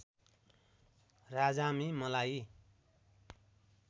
राजामे मलाई